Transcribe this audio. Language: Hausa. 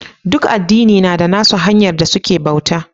Duk addina na da nassu hanya da suke bauta.